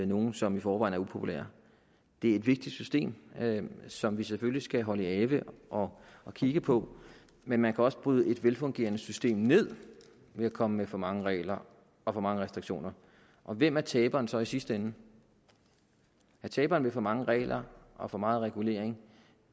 nogen som i forvejen er upopulær det er et vigtigt system som vi selvfølgelig skal holde i ave og og kigge på men man kan også bryde et velfungerende system ned ved at komme med for mange regler og for mange restriktioner og hvem er taberen så i sidste ende ja taberen ved for mange regler og for meget regulering